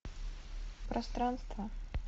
пространство